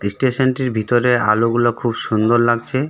ইস্টেশনটির ভেতরে আলো গুলো খুব সুন্দর লাগছে.